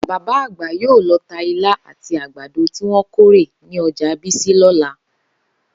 Bàbá àgbà yóò lo̩ ta ilá àti àgbàdo tí wó̩n kórè ní o̩jà Bísí lọ́la